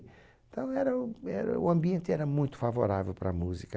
Então era era o ambiente era muito favorável para a música.